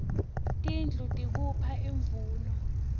tindlu tikuipha imvuno